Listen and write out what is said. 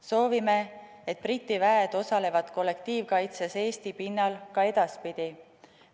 Soovime, et Briti väed osalevad kollektiivkaitses Eesti pinnal ka edaspidi.